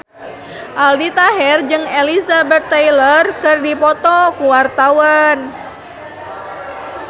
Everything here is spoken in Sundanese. Aldi Taher jeung Elizabeth Taylor keur dipoto ku wartawan